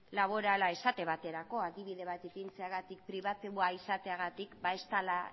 laborala esate baterako adibide bat ipintzeagatik pribatua izateagatik ba ez dela